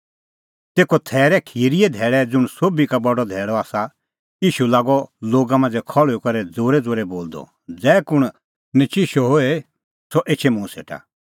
तेखअ थैरे खिरीए धैल़ै ज़ुंण सोभी का बडअ धैल़अ आसा ईशू लागअ लोगा मांझ़ै खल़्हुई करै ज़ोरैज़ोरै बोलदअ ज़ै कुंण नचिशअ होए सह एछै मुंह सेटा